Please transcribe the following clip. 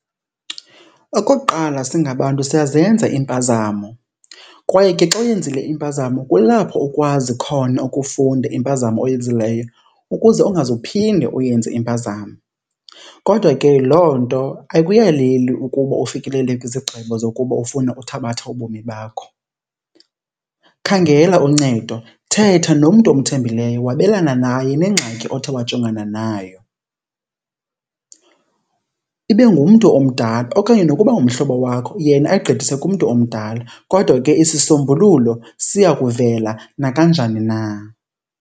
Okokuqala singabantu siyazenza iimpazamo kwaye ke xa uyenzile impazamo kulapho ukwazi khona ukufunda impazamo oyenzileyo ukuze ungaze uphinde uyenze impazamo. Kodwa ke loo nto ayikuyaleli ukuba ufikelele kwizigqibo zokuba ufune uthabatha ubomi bakho. Khangela uncedo, thetha nomntu omthembileyo wabelana naye nengxaki othe wajongana nayo. Ibe ngumntu omdala okanye nokuba ngumhlobo wakho yena ayigqithise kumntu omdala kodwa ke isisombululo siya kuvela nakanjani na.